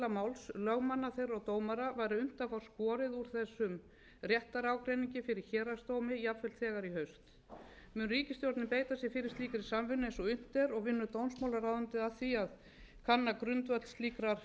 máls lögmanna þeirra og dómara væri unnt að fá skorið úr þessum réttarágreiningi fyrir héraðsdómi jafnvel þegar í haust mun ríkisstjórnin beita sér fyrir slíkri samvinnu eins og unnt er og vinnur dómsmálaráðuneytið að því að kanna grundvöll slíkrar